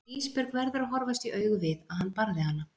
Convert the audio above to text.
Ísbjörg verður að horfast í augu við að hann barði hana.